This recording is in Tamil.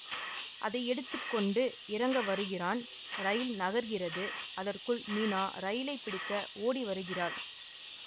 அதை எடுத்து கொண்டு இறங்க வருகிறான் ரயில் நகர்கிறது அதற்குள் மீனா ரயிலைப் பிடிக்க ஓடி வருகிறாள்